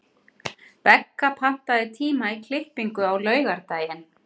Begga, pantaðu tíma í klippingu á laugardaginn.